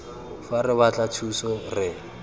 fa re batla thuso re